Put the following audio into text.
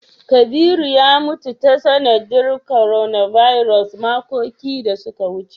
Kabiru ya mutu ta sanadiyar "coronavirus" makoki da su ka wuce.